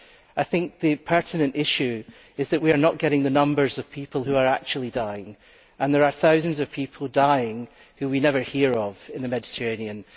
I think the pertinent issue is that we are not getting the numbers of people who are actually dying, and there are thousands of people dying who we never hear of in the Mediterranean.